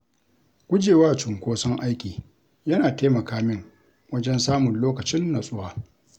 Guje wa cunkoson aiki yana taimaka min wajen samun lokacin natsuwa.